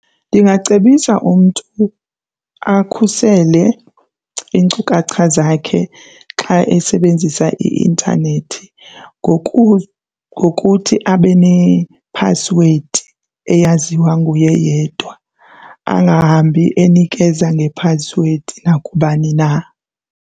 Ndingacebisa umntu akhusele iinkcukacha zakhe xa esebenzisa i-intanethi ngokuthi abe nephasiwedi eyaziwa nguye yedwa, angahambi enikeza ngephasiwedi nakubani na.